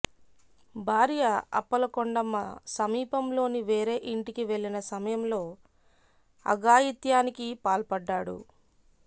భార్య అప్పల కొండమ్మ సమీపంలోని వేరే ఇంటికి వెళ్లిన సమయంలో అఘాయిత్యానికి పాల్పడ్డాడు